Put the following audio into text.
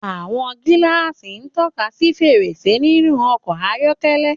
Àwọn gíláàsì ń tọ́ka sí fèrèsé nínú ọkọ̀ ayọ́kẹ́lẹ́.